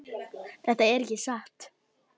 Þetta er ekki satt!